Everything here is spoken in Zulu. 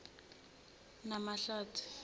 namahlathi